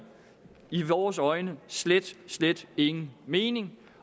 i vores øjne slet slet ingen mening